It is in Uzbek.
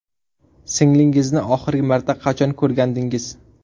Singlingizni oxirgi marta qachon ko‘rgandingiz?